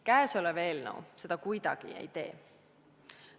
Käesolev eelnõu seda kuidagi ei tee.